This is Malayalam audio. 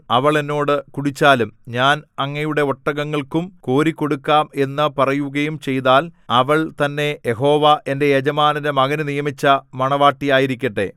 അവൾ എന്നോട് കുടിച്ചാലും ഞാൻ അങ്ങയുടെ ഒട്ടകങ്ങൾക്കും കോരി കൊടുക്കാം എന്നു പറയുകയും ചെയ്താൽ അവൾ തന്നെ യഹോവ എന്റെ യജമാനന്റെ മകനു നിയമിച്ച മണവാട്ടിയായിരിക്കട്ടെ